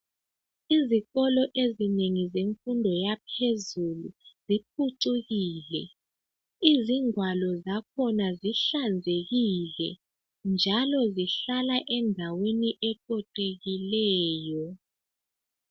Izikolo ezinengi zemfundo yaphezulu ziphucukile. Izingwalo zakhona zihlanzekile. Njalo zihlala endaweni eqoqekileyo.